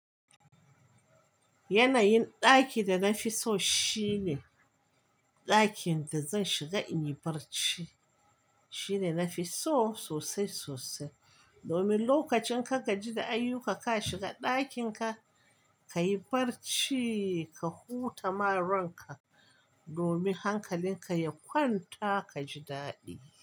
Yanayin ɗaki da na fi so shine ɗakin da zan shiga in yi barci. Shine nafi so sosai sosai. Domin lokacin ka gaji da ayyuka ka shiga ɗakin ka, ka yi barci ka huta ma ronka domin hankalin ka ya kwanta ka ji daɗi.